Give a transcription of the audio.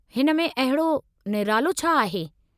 हिन में अहिड़ो निरालो छा आहे?